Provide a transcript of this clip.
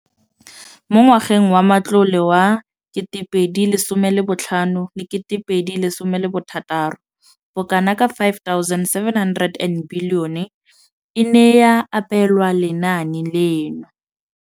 Mo ngwageng wa matlole wa 2015,16, bokanaka R5 703 bilione e ne ya abelwa lenaane leno.